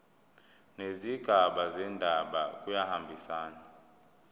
nezigaba zendaba kuyahambisana